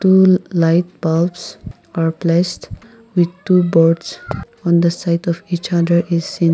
two light bulbs are placed with two birds on the site of each other is seen--